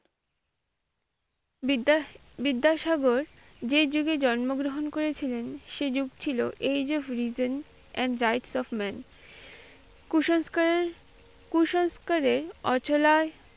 বিদ্যা বিদ্যাসাগর যে যুগে জন্মগ্রহণ করেছিলেন সে যুগ ছিল age of reason and rights of men কুসংস্কারের কুসংস্কারের অঝলার,